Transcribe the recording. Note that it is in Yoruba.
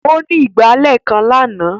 Ó ní ìgbálẹ̀ kan lánàá.